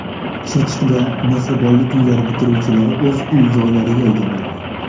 Chirchiqda Mehribonlik uylari bitiruvchilari o‘z uy-joylariga ega bo‘ldi.